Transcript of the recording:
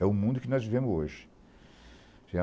É o mundo que nós vivemos hoje.